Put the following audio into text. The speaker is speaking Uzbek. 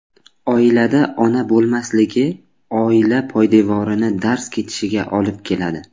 Oilada ona bo‘lmasligi oila poydevorini darz ketishiga olib keladi.